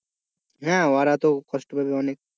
হ্যাঁ ওরা তো কষ্ট পাবে অনেক।